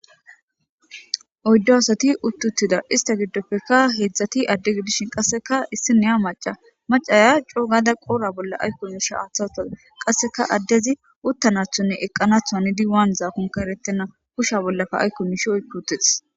Qyddo asati uttuttida ista giddoppekka heedzdzati addegi dishin qasseka issi neya maca macaya coo gada qoora bolla aykko misha hathawtaa qasseka addezi uttanathonne eqqanathu anidi waan zaakonka erettena kusha bollaka aykko mishe oyputeteh.